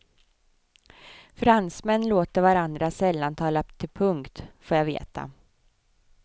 Fransmän låter varandra sällan tala till punkt, får jag veta.